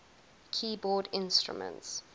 keyboard instruments